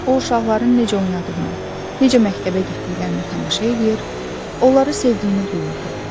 O uşaqların necə oynadığına, necə məktəbə getdiklərinə tamaşa eləyir, onları sevdiyini duyurdu.